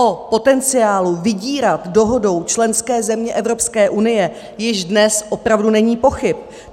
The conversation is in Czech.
O potenciálu vydírat dohodou členské země Evropské unie již dnes opravdu není pochyb.